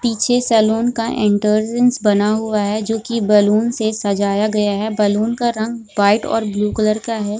पीछे सेलून का एंट्रेंस बना हुआ है जो कि बलून से सजाया गया है बलून का रंग व्हाइट और ब्लू कलर का है ।